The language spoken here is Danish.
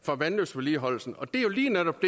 for vandløbsvedligeholdelsen og det er jo lige netop